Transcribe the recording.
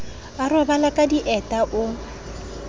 a robale ka dieta o